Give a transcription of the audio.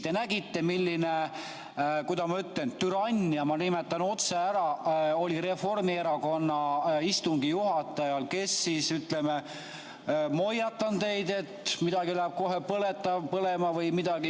Te nägite, milline, kuidas ma ütlen, türannia, ma nimetan otse ära, oli Reformierakonna istungi juhatajal, kes ütles, et ma hoiatan teid, et midagi läheb kohe põlema või midagi.